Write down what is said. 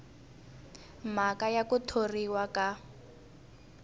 mhaka ya ku thoriwa ka